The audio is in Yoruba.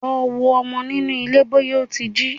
Lọ wo ọmọ nínú ilé bọ́yá ó ti jí!